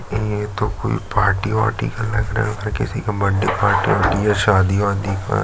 ये तो कोई पार्टी ऊटी का लग रहा है किसी का बड्डे पार्टी है या सादी वादी --